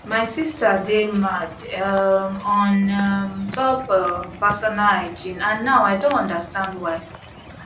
my sister dey mad um on um top um personal hygiene and now i don understand why